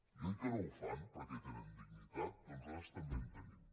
i oi que no ho fan perquè tenen dignitat doncs nosaltres també en tenim